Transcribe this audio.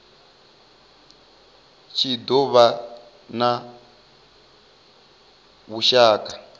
tshi do vha na vhushaka